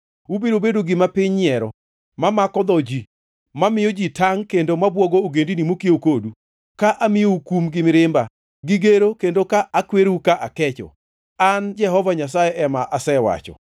Ubiro bedo gima piny nyiero, mamako dho ji, mamiyo ji tangʼ kendo mabwogo ogendini mokiew kodu; ka amiyou kum gi mirima, gi gero kendo ka akwerou ka akecho. An Jehova Nyasaye ema asewacho.